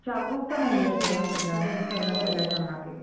जागरूकता नाहीये या सगळ्याच्या मागे